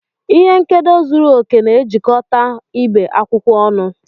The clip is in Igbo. Ihe nkedo zuru oke na-ejikọta ibe akwụkwọ ọnụ.